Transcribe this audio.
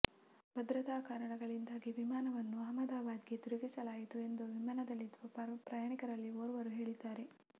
ಭದ್ರತಾ ಕಾರಣಗಳಿಂದಾಗಿ ವಿಮಾನವನ್ನು ಅಹ್ಮದಾಬಾದ್ಗೆ ತಿರುಗಿಸಲಾಯಿತು ಎಂದು ವಿಮಾನದಲ್ಲಿದ್ದ ಪ್ರಯಾಣಿಕರಲ್ಲಿ ಓರ್ವರು ಹೇಳಿದ್ದಾರೆ